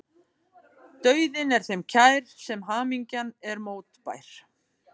Dauðinn er þeim kær sem hamingjan er mótbær.